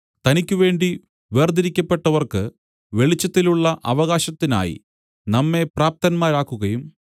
തനിക്കുവേണ്ടി വേർതിരിക്കപ്പെട്ടവർക്ക് വെളിച്ചത്തിലുള്ള അവകാശത്തിനായി നമ്മെ പ്രാപ്തന്മാരാക്കുകയും